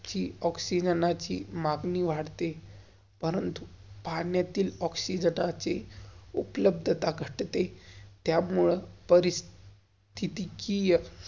हि ओक्सिजनाची मगनी वाढते. परंतु पाण्यातील ओक्सिजनाची उप्लाभ्धता त्यामुलं परिस्तिकिय.